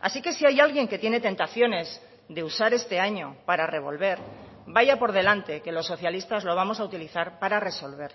así que si hay alguien que tiene tentaciones de usar este año para revolver vaya por delante que los socialistas lo vamos a utilizar para resolver